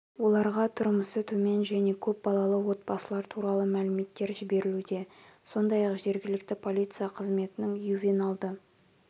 оларға тұрмысы төмен және көп балалы отбасылар туралы мәліметтер жіберілуде сондай-ақ жергілікті полиция қызметінің ювеналды